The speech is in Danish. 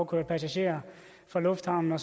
køre passagerer fra lufthavnen